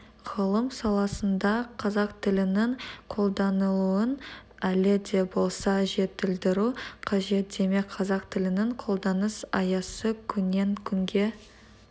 ғылым саласында қазақ тілінің қолданылуын әлі де болса жетілдіру қажет демек қазақ тілінің қолданыс аясы күннен-күнге